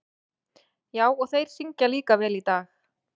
Já, og þeir syngja líka vel í dag.